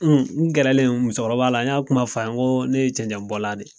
N n gɛralen o musokɔrɔba la n y'a fɔ kuma fa ye ko ne ye cɛncɛn bɔla de ye